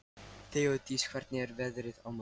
Þeódís, hvernig er veðrið á morgun?